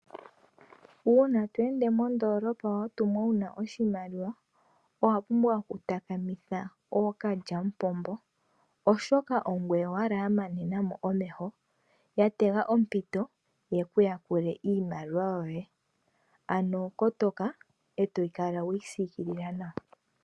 Uuna to ende mondoolopa watumwa wuna oshimaliwa owa pumbwa okutakamitha ookalyamupombo. Oshoka ongoye owala ya manena mo omeho ya tega ompito yeku yakule iimaliwa yoye. Ano kotoka eto kala weyi siikilila nawa.